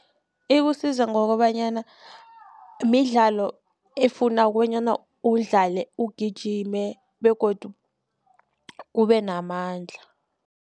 Ikusiza ngokobanyana midlalo efuna bonyana udlale ugijime begodu ubenamandla.